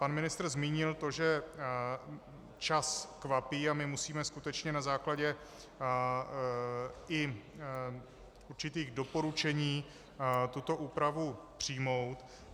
Pan ministr zmínil to, že čas kvapí a my musíme skutečně na základě i určitých doporučení tuto úpravu přijmout.